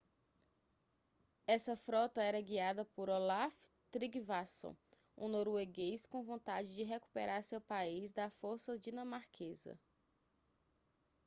essa frota era guiada por olaf trygvasson um norueguês com vontade de recuperar seu país da força dinamarquesa